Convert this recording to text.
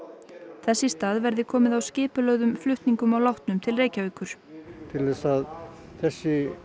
þess í stað verði komið á skipulögðum flutningum látinna til Reykjavíkur til að þessi